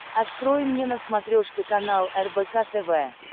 открой мне на смотрешке канал рбк тв